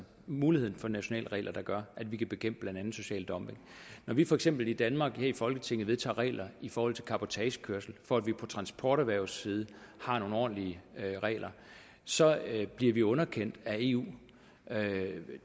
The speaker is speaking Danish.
muligheden for nationale regler der gør at vi kan bekæmpe blandt andet social dumping når vi for eksempel i danmark her i folketinget vedtager regler i forhold til cabotagekørsel for at vi på transporterhvervets side har nogle ordentlige regler så bliver vi underkendt af eu